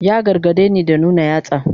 Ya gargadeni da nuna yatsa.